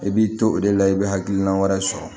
I b'i to o de la i bɛ hakilina wɛrɛ sɔrɔ